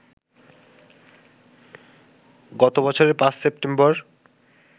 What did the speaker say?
গত বছরের ৫ সেপ্টেম্বর